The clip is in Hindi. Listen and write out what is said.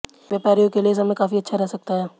व्यापारियों के लिए समय काफी अच्छा रह सकता है